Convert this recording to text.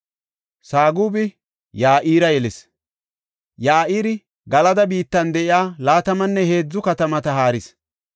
Sagubi Ya7ira yelis. Ya7iri Galada biittan de7iya laatamanne heedzu katamata haaris.